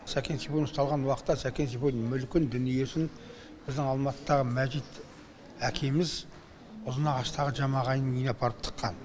сәкен сейфуллин ұсталған уақытта сәкен сейфуллин мүлкін дүниесін біздің алматыдағы мәжит әкеміз ұзынағаштағы ағайынның үйіне апарып тыққан